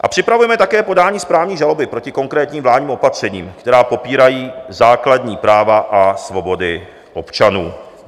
A připravujeme také podání správní žaloby proti konkrétním vládním opatřením, která popírají základní práva a svobody občanů.